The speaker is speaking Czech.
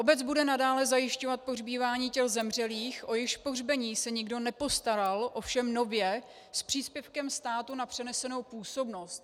Obec bude nadále zajišťovat pohřbívání těl zemřelých, o jejichž pohřbení se nikdo nepostaral, ovšem nově s příspěvkem státu na přenesenou působnost.